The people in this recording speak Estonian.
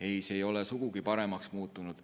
Ei, see ei ole sugugi paremaks muutunud.